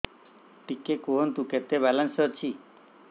ଟିକେ କୁହନ୍ତୁ କେତେ ବାଲାନ୍ସ ଅଛି